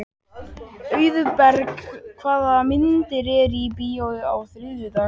Auðberg, hvaða myndir eru í bíó á þriðjudaginn?